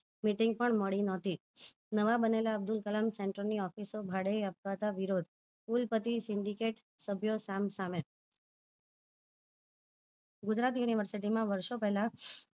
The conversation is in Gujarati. Meeting પણ મળી નહોતી નવા બનેલા અબ્દુલ કલામ center ની office ઓ ભાડે આપવા વિરોધ કુલ પતિ syndicate સભ્યો સામ સામે ગુજરાત university વર્ષો પહેલા